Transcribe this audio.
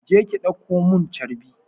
Je ki ɗauko mun carbi!